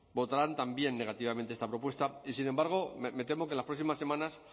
votarán también negativamente esta propuesta y sin embargo me temo que en las próximas semanas